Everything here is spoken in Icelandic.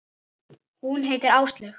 Hún heitir Áslaug.